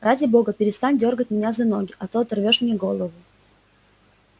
ради бога перестань дёргать меня за ноги а то оторвёшь мне голову